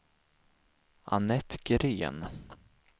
Annette Green